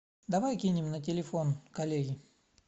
давай кинем на телефон коллеге